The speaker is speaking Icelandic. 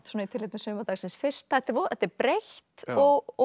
svona í tilefni sumardagsins fyrsta þetta er breitt og